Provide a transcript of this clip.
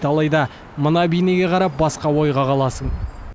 алайда мына бейнеге қарап басқа ойға қаласың